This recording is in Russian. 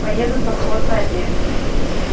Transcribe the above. поеду совхозная девять